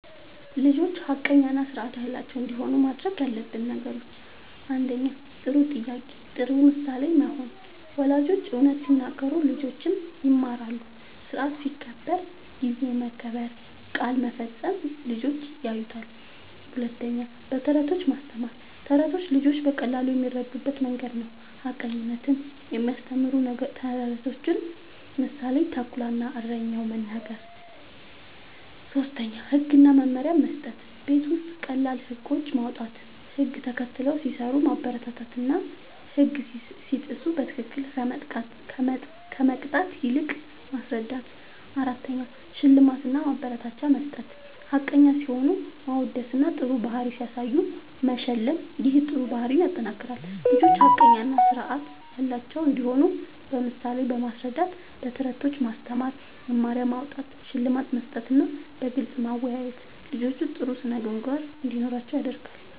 ልጆች ሐቀኛ እና ስርዓት ያላቸው እንዲሆኑ ማድረግ ያለብን ነገሮችን፦ ፩. ጥሩ ምሳሌ መሆን፦ ወላጆች እውነት ሲናገሩ ልጆችም ይማራሉ። ስርዓት ሲከበር (ጊዜ መከበር፣ ቃል መፈጸም) ልጆች ያዩታል። ፪. በተረቶች ማስተማር፦ ተረቶች ልጆች በቀላሉ የሚረዱበት መንገድ ነዉ። ሐቀኝነትን የሚያስተምሩ ተረቶችን (ምሳሌ፦ “ተኩላ እና እረኛው”) መናገር። ፫. ህግ እና መመሪያ መስጠት፦ ቤት ውስጥ ቀላል ህጎች ማዉጣት፣ ህግ ተከትለው ሲሰሩ ማበረታታትና ህግ ሲጥሱ በትክክል ከመቅጣት ይልቅ ማስረዳት ፬. ሽልማት እና ማበረታቻ መስጠት፦ ሐቀኛ ሲሆኑ ማወደስና ጥሩ ባህሪ ሲያሳዩ መሸለም ይህ ጥሩ ባህሪን ያጠናክራል። ልጆች ሐቀኛ እና ስርዓት ያላቸው እንዲሆኑ በምሳሌ ማስረዳት፣ በተረቶች ማስተማር፣ መመሪያ ማዉጣት፣ ሽልማት መስጠትና በግልጽ ማወያየት ልጆች ጥሩ ስነ ምግባር እንዲኖራቸዉ ያደርጋል